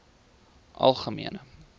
algemene